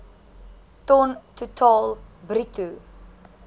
ton totaal bruto